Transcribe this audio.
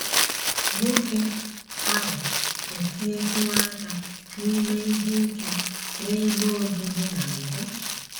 Nwoke ahụ etinyetụwo aka n’ime ihe ike n’ebe obibi na mbụ.